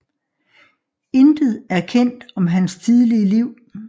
Intet er kendt om hans tidlige liv